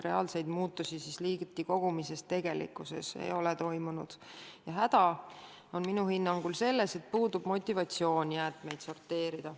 Reaalseid muutusi liigiti kogumises tegelikult ei ole toimunud ja häda minu hinnangul peitub selles, et puudub motivatsioon jäätmeid sorteerida.